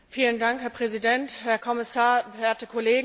Herr Präsident, Herr Kommissar, werte Kollegen!